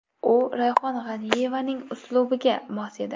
U Rayhon G‘aniyevaning uslubiga mos edi.